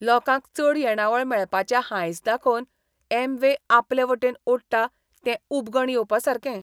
लोकांक चड येणावळ मेळपाचें हांयस दाखोवन अॅमवे आपलेवटेन ओडटा तें उबगण येवपासारकें.